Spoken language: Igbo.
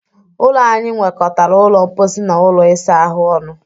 Ụlọ anyị nwekọtara ụlọ mposi na ụlọ isa ahụ ọnụ.